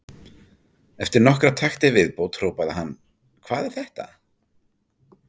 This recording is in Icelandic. Eftir nokkra takta í viðbót hrópaði hann: Hvað er þetta?